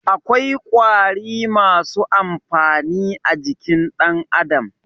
Akwai ƙwari masu amfani a jikin dan Adam.